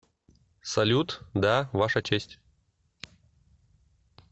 салют да ваша честь